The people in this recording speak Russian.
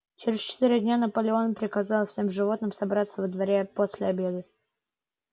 через четыре дня наполеон приказал всем животным собраться во дворе после обеда